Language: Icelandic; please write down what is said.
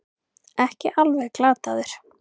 Ekki alveg glataður